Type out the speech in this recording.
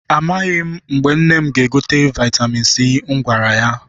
Amaghị m mgbe nne m ga-egote vaịtamin C m gwara ya.